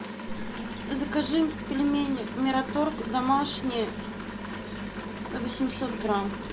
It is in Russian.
закажи пельмени мираторг домашние восемьсот грамм